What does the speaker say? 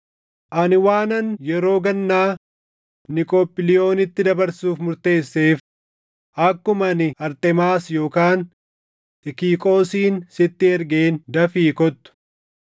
Ani waanan yeroo gannaa Niqoophiliyoonitti dabarsuuf murteesseef akkuma ani Arxemaas yookaan Xikiqoosin sitti ergeen dafii kottu.